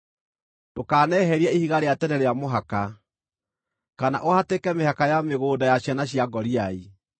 Ndũkaneherie ihiga rĩa tene rĩa mũhaka, kana ũhatĩke mĩhaka ya mĩgũnda ya ciana cia ngoriai,